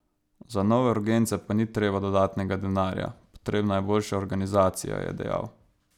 Za nove urgence pa ni treba dodatnega denarja, potrebna je boljša organizacija, je dejal.